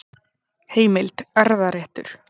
Heimild: Erfðaréttur.